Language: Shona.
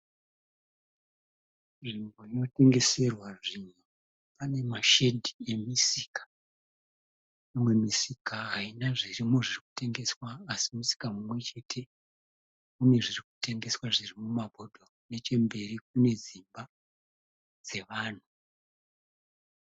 Nzvimbo inotengeserwa zvinhu. Pane mashedhi emisika. Mumwe musika haina zvirimo zvirikutengeswa asi musika mumwechete une zvirikutengeswa zviri ipapo. Nechemberi kune dzimba dzevanhu.